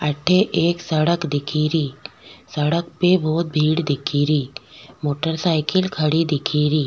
अठ एक सड़क दिख री सड़क पे बहुत भीड़ दिख री मोटर साइकिल खड़ी दिख री।